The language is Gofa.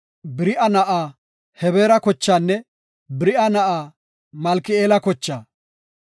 Beri7a na7a Hebeera kochaanne Beri7a na7aa Malki7eela kochaa.